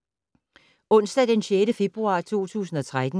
Onsdag d. 6. februar 2013